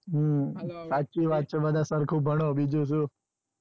હમ સાચી વાત છે બધા સરખું ભણો બીજું શું.